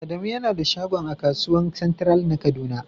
Adamu yana da shagon a kasuwan " central" na kaduna.